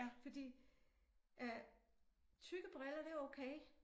Fordi øh tykke briller det okay